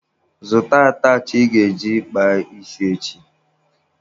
Zụta atachị ị ga-eji kpaa isi echi!